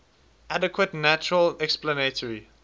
adequate natural explanatory